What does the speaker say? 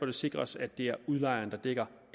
det sikres at det er udlejeren der dækker